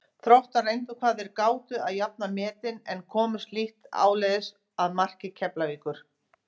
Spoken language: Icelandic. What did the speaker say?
Þróttarar reyndu hvað þeir gátu að jafna metin en komust lítt áleiðis að marki Keflavíkur.